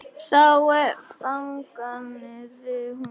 Þá þagnaði hún.